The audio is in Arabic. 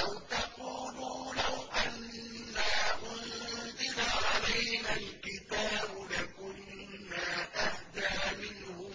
أَوْ تَقُولُوا لَوْ أَنَّا أُنزِلَ عَلَيْنَا الْكِتَابُ لَكُنَّا أَهْدَىٰ مِنْهُمْ ۚ